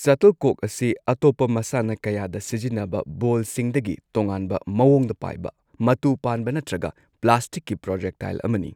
Shuttlecock ꯑꯁꯤ ꯑꯇꯣꯞꯄ ꯃꯁꯥꯟꯅ ꯀꯌꯥꯗ ꯁꯤꯖꯤꯟꯅꯕ ꯕꯣꯜꯁꯤꯡꯗꯒꯤ ꯇꯣꯉꯥꯟꯕ ꯃꯋꯣꯡꯗ ꯄꯥꯏꯕ ꯃꯇꯨ ꯄꯥꯟꯕ ꯅꯠꯇ꯭ꯔꯒ ꯄ꯭ꯂꯥꯁꯇꯤꯛꯀꯤ ꯄ꯭ꯔꯣꯖꯦꯛꯇꯥꯏꯜ ꯑꯃꯅꯤ꯫